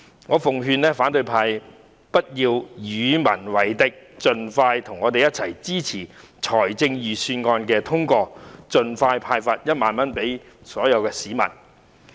我奉勸反對派不要與民為敵，應和我們一起支持通過預算案，好能盡快向所有市民派發1萬元。